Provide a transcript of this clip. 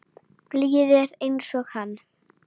Blíðir einsog hann.